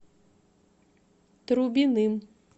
трубиным